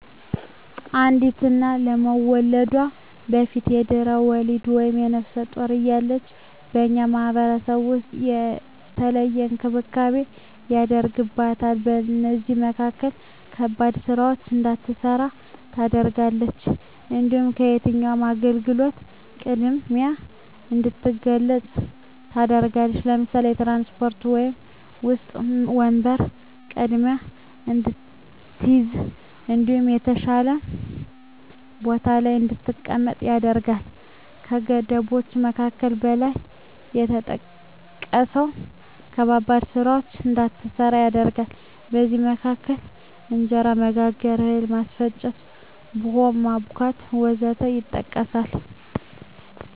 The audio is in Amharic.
አንዲት እና ከመዉለዷ በፊት(በድሕረ ወሊድ)ወይም ነብሰ ጡር እያለች በእኛ ማህበረሰብ ዉስጥ የተለየ እንክብካቤ ይደረግላታል ከእነዚህም መካከል ከባድ ስራወችን እንዳትሰራ ትደረጋለች። እንዲሁም ከየትኛዉም አገልግሎት ቅድሚያ እንድትገለገል ትደረጋለች ለምሳሌ፦ በትራንስፖርት ዉስጥ ወንበር ቀድማ እንድትይዝ እንዲሁም የተሻለ ቦታ ላይ እንድትቀመጥ ይደረጋል። ከገደቦች መካከል ከላይ እንደተጠቀሰዉ ከባባድ ስራወችን እንዳትሰራ ይደረጋል ከእነዚህም መካከል እንጀራ መጋገር፣ እህል ማስፈጨት፣ ቡሆ ማቡካት ወዘተ ይጠቀሳል